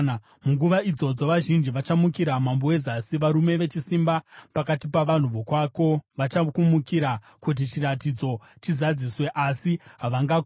“Munguva idzodzo vazhinji vachamukira mambo weZasi. Varume vechisimba pakati pavanhu vokwako vachakumukira kuti chiratidzo chizadziswe, asi havangakundi.